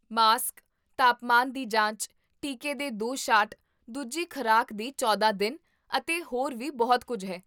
mask, ਤਾਪਮਾਨ ਦੀ ਜਾਂਚ, ਟੀਕੇ ਦੇ ਦੋ ਸ਼ਾਟ, ਦੂਜੀ ਖ਼ੁਰਾਕ ਦੇ ਚੌਦਾਂ ਦਿਨ, ਅਤੇ ਹੋਰ ਵੀ ਬਹੁਤ ਕੁੱਝ ਹੈ